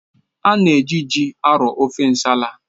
A na-eji ji arọọ ofe nsala.